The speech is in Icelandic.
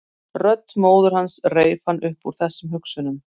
Rödd móður hans reif hann upp úr þessum hugsunum.